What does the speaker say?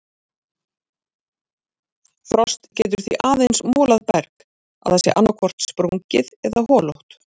Frost getur því aðeins molað berg að það sé annaðhvort sprungið eða holótt.